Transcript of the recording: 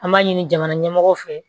An b'a ɲini jamana ɲɛmɔgɔw fɛ